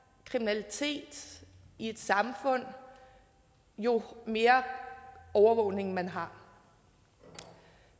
kriminalitet i et samfund jo mere overvågning man har